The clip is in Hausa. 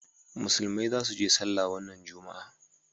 musulmai za su je sallah wannan juma'a